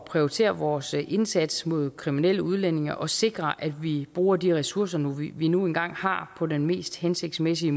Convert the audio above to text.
prioritere vores indsats mod kriminelle udlændinge og sikre at vi bruger de ressourcer vi nu engang har på den mest hensigtsmæssige